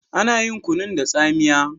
Ana yin kunun da tsamiya.